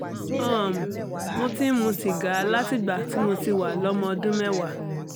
um mo ti ń mu sìgá látìgbà tí mo ti wà lọ́mọ ọdún mẹ́wàá